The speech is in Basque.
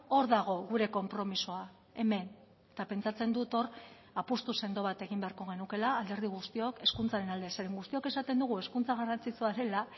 hor dago gure konpromisoa hemen eta pentsatzen dut hor apustu sendo bat egin beharko genukeela alderdi guztiok hezkuntzaren alde zeren guztiok esaten dugu hezkuntza garrantzitsua dela